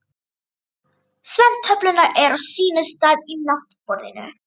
Svefntöflurnar eru á sínum stað í náttborðinu.